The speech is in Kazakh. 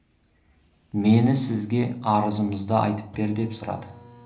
мені сізге арызымызды айтып бер деп сұрады